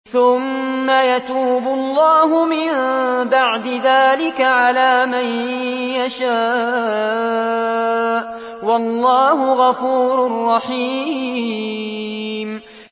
ثُمَّ يَتُوبُ اللَّهُ مِن بَعْدِ ذَٰلِكَ عَلَىٰ مَن يَشَاءُ ۗ وَاللَّهُ غَفُورٌ رَّحِيمٌ